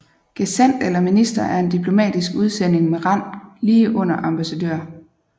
Gesandt eller minister er en diplomatisk udsending med rang lige under ambassadør